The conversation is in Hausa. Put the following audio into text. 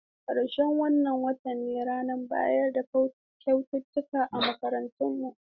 Ƙarshen wannan watan ne ranar bayar da kyaututtuka a makarantarmu.